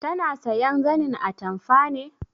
Tana sayan zanin atamfa ne?